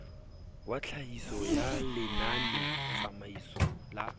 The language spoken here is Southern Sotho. wa tlhahiso ya lenanetsamaiso la